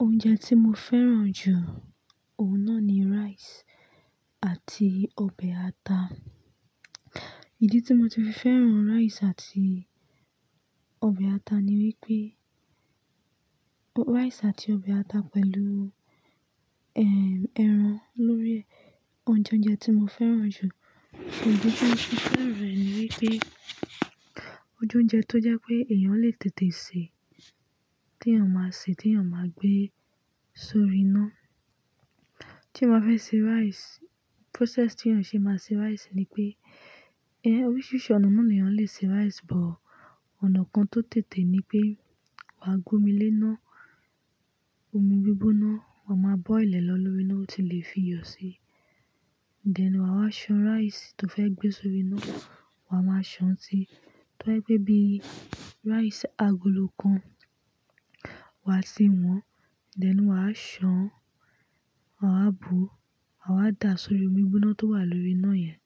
Oúnjẹ tí mo fẹ́ràn jù, òhun náà ni rice àti ọbẹ̀ ata. Ìdí tí mo ti fi fẹ́ràn rice àti ọbẹ̀ ata ni wípé rice àti ọbẹ̀ ata pẹ̀lú, eh, ẹran lórí oúnjẹ oúnjẹ tí mo fẹ́ràn jù. Ìdí tí mo ti fẹ́ràn rẹ̀ ni wípé ojú ọjọ́ tó jẹ́ pé èèyàn lè tètè sè é, tí èèyàn máa sè é, tí èèyàn máa gbé sórí iná. Tí mo bá fẹ́ ṣe rice, process tí èèyàn ṣe máa ṣe rice ni pé, eh, oríṣiríṣi ònà ni èèyàn le ṣe rice, but ònà kan tó tètè ni pé wà á gbómi lé iná, omi gbígbóná, wà máa boil ẹ̀ lọ lórí iná, ó ti lè fi iyọ̀ si. Then wà á san rice tó fẹ́ gbé sórí iná, wà máa san si, tó bá jẹ́ pé bí rice agolo kan, wà á tì wọn. Then wà á san, wà á bùú, wà á da sórí omi gbígbóná tó wà lóríi iná yẹn.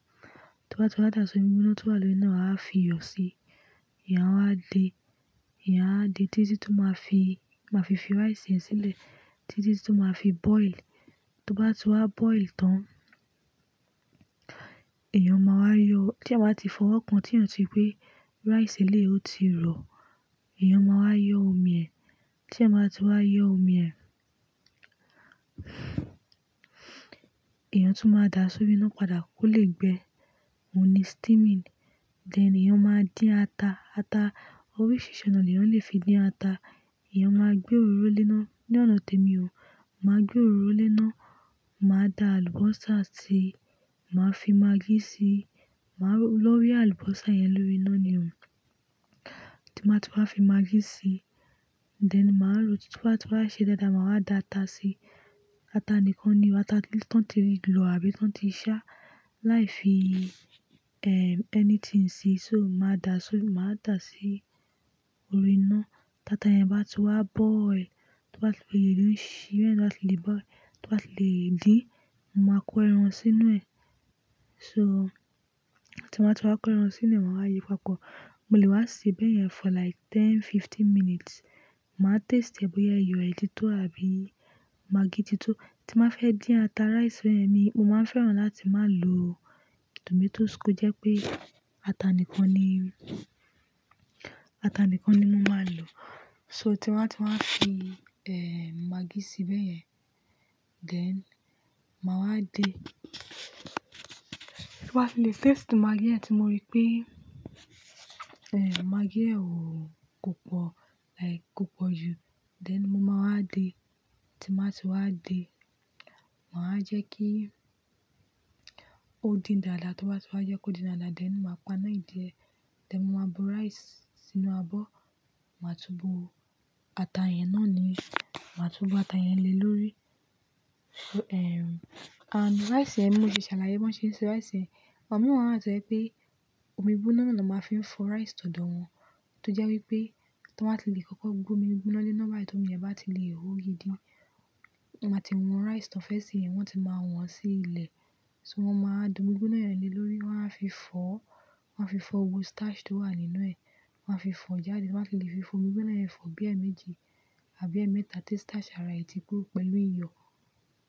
Tó bá ti wá da sórí omi gbígbóná tó wà lórí iná, wà á fi iyọ̀ si. Èèyàn wà á de. Èèyàn wà á de títí tó máa fi, máa fi fi rice yẹn sílẹ̀, títí tó máa fi boil. Tó bá ti wá boil tán, èèyàn máa wá yọ, tí èèyàn bá ti fọwọ́ kan, tí èèyàn ti rí pé rice eléyìí ọ, ó ti rọ̀. Ìyẹn máa wá yọ omi ẹ̀. Tí èèyàn bá ti wá yọ omi ẹ̀, èèyàn tún máa da sóri iná padà kó lè gbẹ. Òhun ní steaming. Then èèyàn máa dín ata. Ata, oríṣiríṣi ònà ni èèyàn le fi dín ata. Èèyàn máa gbé òróró lé iná. Ni ọ̀nà tèmi o, màá gbé òróró lé iná, màá da àlùbọ́sà síi, màá fi maggi síi. Màá wọ̀ lórí àlùbọ́sà yẹn lórí iná ni o. Tí bá ti wá fi maggi síi. Then màá ròó. Tí bá ti wá ṣe dáadáa, màá wá da ata síi. Ata nìkan ni o. Ata tó ti lọ̀ àbí tó ti sá. Láì fi, eh, anything síi. So màá da sórí, màá da sí orí iná. Táta yẹn bá ti wá boil, tó bá ti wá le dùn si, ìyẹn tó bá ti le boil, tó bá ti le dín, mo máa kó ẹran sínú ẹ̀. So, tí mo bá ti wá kó ẹran sínú ẹ̀, màwá yíi papọ̀. Mo lè wá sè béyẹn for like ten, fifteen minutes. Màá taste ẹ bóyá iyọ̀ ẹ ti tó àbí maggi ti tó. Tí màá fẹ́ dín ata rice fún ẹ̀mi, mo máa fẹ́ràn láti má lo tomatoes kó jẹ́ pé ata nìkan ni, ata nìkan ni mo máa lò. So tí wàá ti wá fi, eh, maggi sí béyẹn, then màá wá de. Tí bá ti lè taste maggi yẹn tí mo rí pé, eh, maggi yẹn ò pọ̀, like kò pọ̀ jù, then mo máa wá de. Tí n bá ti wá de, màá jẹ́ kí ó dín dáadáa. Tó bá ti wá jẹ́ kó dín dáadáa, then màá paná ẹ̀ díẹ̀. Then mo máa bu rice sínú abọ́. Màá túbu ata yẹn náà ni. Màá túbu ata yẹn le lórí. So, eh, and, rice yẹn, bí mo ti ṣàlàyé bí wọ́n ṣe ń se rice. Àwọn mìíràn wà tó jẹ́ pé omi gbígbóná ni wọ́n máa fi ń fọ rice tọ̀dọ̀ wọn. Tó jẹ́ wípé tí wọ́n bá ti lè kọ́kọ́ gbé omi gbígbóná lé iná tí omi yẹn bá ti lè hó gidi. Wọ́n máa ti wọn rice tí wọ́n fẹ́ sè yẹn, wọ́n ti máa wọ̀ń sí ilẹ̀. So wọ́n máa da omi gbígbóná yẹn le lórí, wọ́n á fi fọ́, wọ́n á fi fọ́ gbogbo starch tó wà nínú ẹ̀. Wọ́n á fi fọ́ jáde. Tí wọ́n bá ti lè fi fọ omi gbígbóná yẹn fọ bí ẹ́ méjì àbí ẹ́ mẹ́ta tí starch ara ẹ̀ ti bó pẹ̀lú iyọ̀.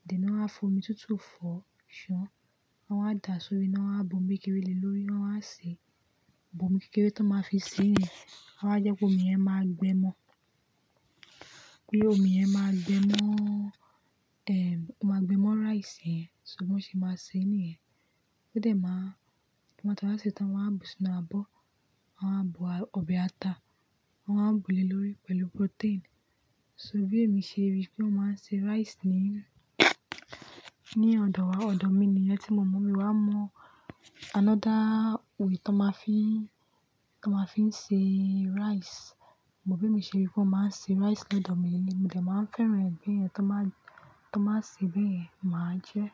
Then wọ́n á fi omi tútù fọ́, ṣán. Wọ́n á da sórí iná, wọ́n á bu omi kékeré le lórí, wọ́n á sè. Omi kékeré tán máa fi sèé yẹn, wọ́n á jẹ́ kí omi yẹn máa gbẹ mọ́. Kí omi yẹn máa gbẹ mọ́, eh, ó máa gbẹ mọ́ rice yẹn. So bí wọ́n ṣe máa sè nìyẹn. Wọ́n dẹ̀ máa, tí wọ́n bá ti wá sè tán, wọ́n á bu sínú abọ́. Wọ́n á bu ọbẹ̀ ata. Wọ́n á bùú le lórí pẹ̀lú protein. So bí èmi ṣe rí bí wọ́n máa ń se rice ni, ní ọ̀dọ̀ wa. Ọ̀dọ̀ mi ni yẹn tí mo mọ̀. Mi ò mọ another way tó máa fi ń, tó máa fi ń se rice. But bí èmi ṣe rí bí wọ́n máa ń se rice lọ́dọ̀ mi ni. Mo dẹ̀ màá fẹ́ràn báyẹn tán bá, tán bá sè béyẹn, màá jẹ́.